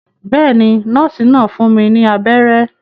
Bẹ́ẹ̀ ni, nọ́ọ́sì náà fún mi ní abẹ́rẹ́.